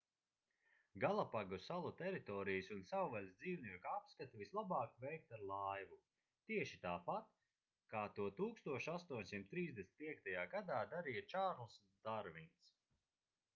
galapagu salu teritorijas un savvaļas dzīvnieku apskati vislabāk veikt ar laivu tieši tāpat kā to 1835. gadā darīja čārlzs darvins